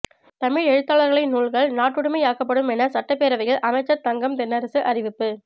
தமிழ் எழுத்தாளர்களின் நூல்கள் நாட்டுடைமையாக்கப்படும் என சட்டப்பேரவையில் அமைச்சர் தங்கம் தென்னரசு அறிவிப்பு